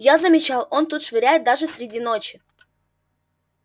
я замечал он тут швыряет даже среди ночи